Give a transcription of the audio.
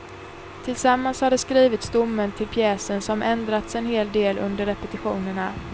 Tillsammans har de skrivit stommen till pjäsen som ändrats en hel del under repetitionerna.